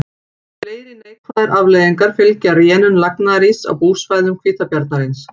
Fleiri neikvæðar afleiðingar fylgja rénun lagnaðaríss á búsvæðum hvítabjarnarins.